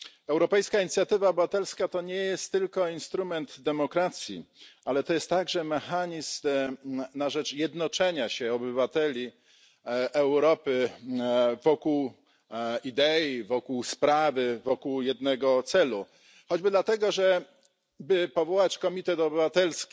Europejska inicjatywa obywatelska to nie jest tylko instrument demokracji, ale to jest także mechanizm na rzecz jednoczenia się obywateli Europy wokół idei, wokół sprawy, wokół jednego celu, choćby dlatego że by powołać Komitet Obywatelski,